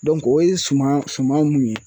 o ye suman suman mun ye